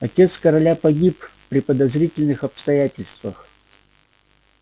отец короля погиб при подозрительных обстоятельствах